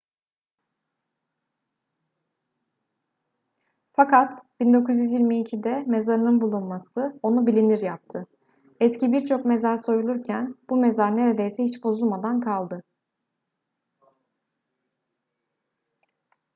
fakat 1922'de mezarının bulunması onu bilinir yaptı eski birçok mezar soyulurken bu mezar neredeyse hiç bozulmadan kaldı